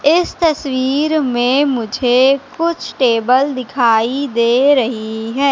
इस तस्वीर में मुझे कुछ टेबल दिखाई दे रही है।